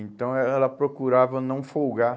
Então eh ela procurava não folgar.